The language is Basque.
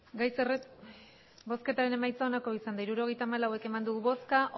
hirurogeita hamalau eman dugu bozka